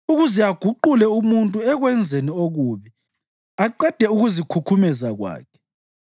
ukuze aguqule umuntu ekwenzeni okubi aqede ukuzikhukhumeza kwakhe,